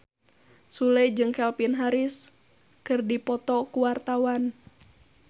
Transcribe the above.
Sule jeung Calvin Harris keur dipoto ku wartawan